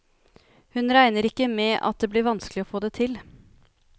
Hun regner ikke med at det blir vanskelig å få til.